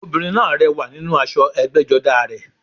Obìnrin náà rẹwà nínú aṣọ ẹgbẹ́jọdá a rẹ̀